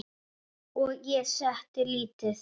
Og ég setti lítið